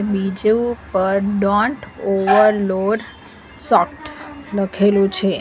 બીજો ઉપર don't overload સોટ્સ લખેલું છે.